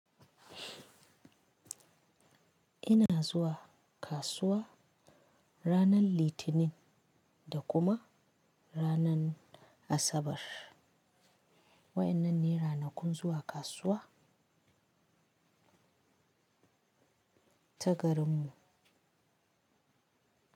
Ina zuwa kasuwa ranar Litinin da kuma ranar Asabar. Wa'ennan ne ranakun zuwa kasuwa ta garin mu.